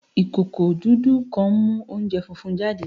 Ikoko dudu kan nmu ounjẹ funfun jade